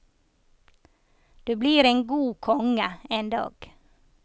Du blir en god konge en dag.